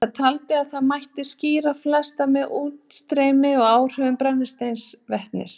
Hann taldi að þar mætti skýra flest með útstreymi og áhrifum brennisteinsvetnis.